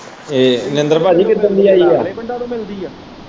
ਮਹਿੰਦਰ ਪਾਜੀ ਕਿਸ ਦਿਨ ਦੀ ਆਈ ਹੈ?